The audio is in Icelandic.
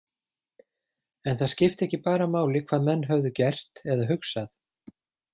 En það skipti ekki bara máli hvað menn höfðu gert eða hugsað.